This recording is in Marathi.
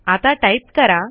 आता टाईप करा